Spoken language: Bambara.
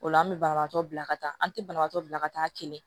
O la an bɛ banabaatɔ bila ka taa an tɛ banabagatɔ bila ka taa kɛnɛ